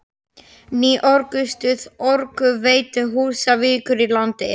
Svipað á við um fyrri hluta annarrar málsgreinar fyrstu greinarinnar.